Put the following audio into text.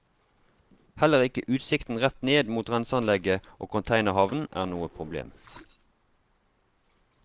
Heller ikke utsikten rett ned mot renseanlegget og containerhavnen er noe problem.